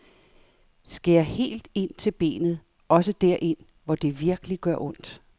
Skær helt ind til benet, også derind, hvor det virkelig gør ondt.